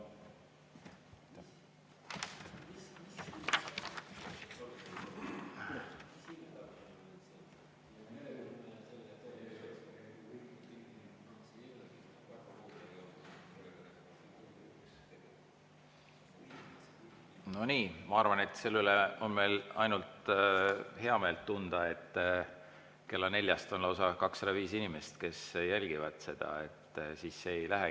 No nii, ma arvan, et selle üle me saame ainult heameelt tunda, et kella neljaks lausa 205 inimest seda jälgivad.